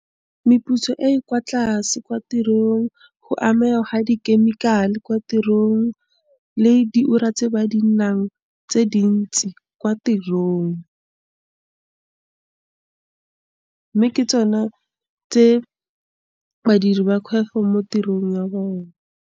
Meputso e e kwa tlase kwa tirong, go amega gwa di-chemical-e kwa tirong le di ura tse ba di nang tse dintsi kwa tirong. mme ke tsona tse badiri ba mo tirong ya bone.